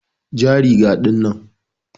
ja riga ɗinnan.